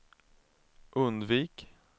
undvik